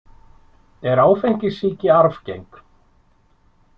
Er áfengissýki arfgeng?